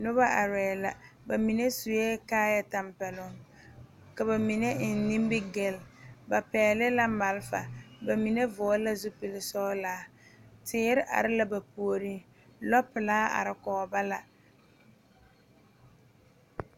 Noba are la ba mine. sue kaayɛ tampɛloŋ ka ba eŋ nimie gil ba pɛgeli la malfa ba mine vɔgeli la zupili sɔglɔ teere are la ba puoriŋ lɔ pelaa. are kɔɔ ba la.